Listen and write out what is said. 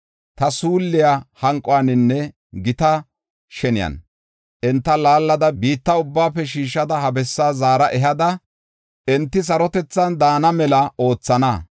Ta suulliya hanquwaninne gita sheniyan enta laallida biitta ubbaafe shiishada ha bessaa zaara ehada, enti sarotethan daana mela oothana.